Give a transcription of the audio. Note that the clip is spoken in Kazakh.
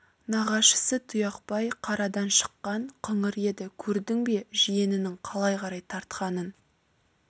нағашысы тұяқбай қарадан шыққан қыңыр еді көрдің бе жиенінің қалай қарай тартқанын